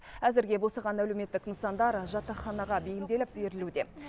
әзірге босаған әлеуметтік нысандар жатақханаға бейімделіп берілуде